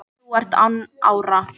og þú ert án ára